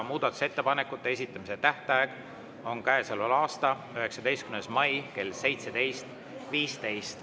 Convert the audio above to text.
Muudatusettepanekute esitamise tähtaeg on käesoleva aasta 19. mai kell 17.15.